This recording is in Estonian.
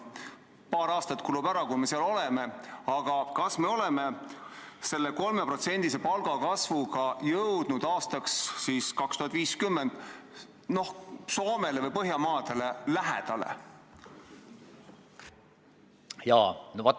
Paar aastat kulub veel, kuni me seal oleme, aga kas me oleme selle 3%-lise palgakasvuga jõudnud aastaks 2050 Soomele või kõigile Põhjamaadele lähedale?